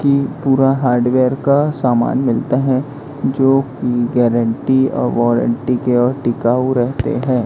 की पूरा हार्डवेयर का सामान मिलता है जोकि गारंटी और वॉरंटी के और टिकाऊ रहते हैं।